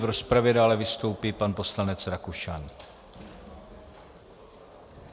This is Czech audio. V rozpravě dále vystoupí pan poslanec Rakušan.